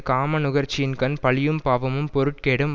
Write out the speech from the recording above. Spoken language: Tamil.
காம நுகர்ச்சியின்கண் பழியும் பாவமும் பொருட்கேடும்